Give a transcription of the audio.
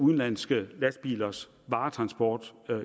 udenlandske lastbilers varetransport